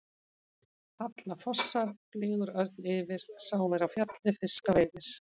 Falla fossar, flýgur örn yfir, sá er á fjalli fiska veiðir.